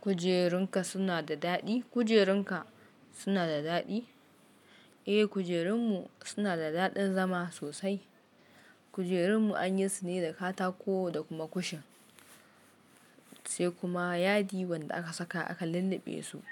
Kujerunka suna da daɗi? Kujerunka suna da daɗi? Eh, kujerunmu suna da daɗin zama sosai. Kujerunmu anyi sune da katako da kuma kushin, sai kuma yadi wanda aka saka akan lulluɓe su.